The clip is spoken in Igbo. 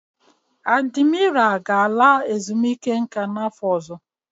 Adimira ga-ala ezumike nka n'afọ ọzọ.